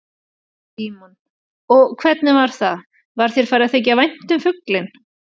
Símon: Og hvernig var það, var þér farið að þykja vænt um fuglinn?